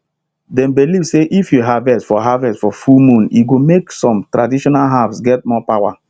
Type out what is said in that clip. dem believe say if you harvest for harvest for full moon e go make some traditional herbs get more power